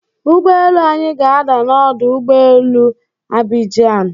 Ụgbọelu anyị ga-ada na ọdụ ụgbọelu Abijian.